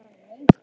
Laugarbrekku